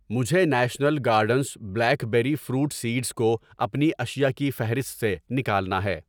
مجھے national gardens blackberry fruit seeds کو اپنی اشیاء کی فہرست سے نکالنا ہے۔